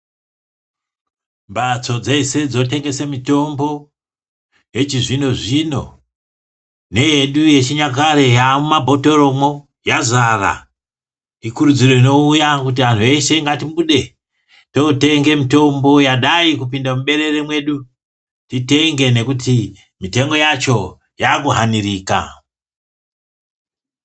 Mbatso dzese dzinotengese mitombo, yechizvino-zvino, neyedu yechinyakare yaamumabhothoromwo, yazara. Ikurudziro inouya kuti anhu eshe ngaatibude, tootenge mitombo yadai kupinda muberere mwedu. Titenge nekuti mitengo yacho yaakuhanirika.